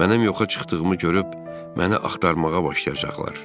Mənim yoxa çıxdığımı görüb, məni axtarmağa başlayacaqlar.